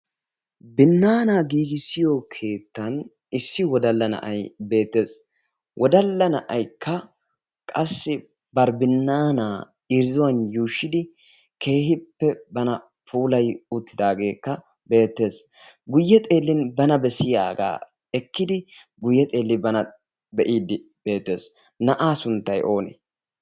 binnaanaa giigissiyo keettan issi wodalla na'ay beettees. wodalla na'aykka qassi baribinnaanaa irzzuwan yuushshidi keehippe bana puolai uttidaageekka beettees guyye xeellin bana bessiyaagaa ekkidi guyye xeelli bana be'iiddi beetees na'aa sunttay oonee?